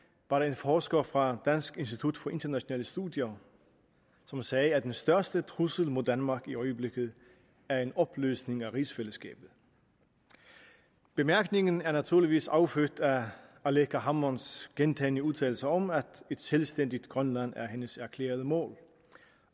var der en forsker fra dansk institut for internationale studier som sagde at den største trussel mod danmark i øjeblikket er en opløsning af rigsfællesskabet bemærkningen er naturligvis affødt af aleqa hammonds gentagne udtalelser om at et selvstændigt grønland er hendes erklærede mål